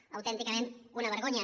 és autènticament una vergonya